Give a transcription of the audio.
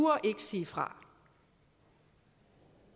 sige fra